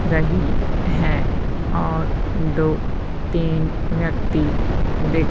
रही हैं और दो तीन व्यक्ति दिख--